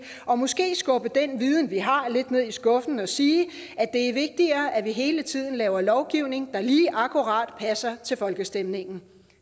og måske skubbe den viden vi har lidt ned i skuffen og sige at det er vigtigere at vi hele tiden laver lovgivning der lige akkurat passer til folkestemningen